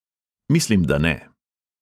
Mislim, da ne.